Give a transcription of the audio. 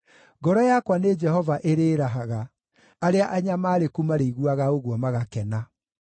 Ngoro yakwa nĩ Jehova ĩrĩĩrahaga; arĩa anyamaarĩku marĩiguaga ũguo magakena.